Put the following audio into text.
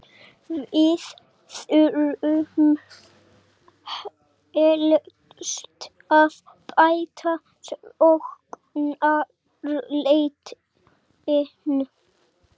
Við þurfum helst að bæta sóknarleikinn.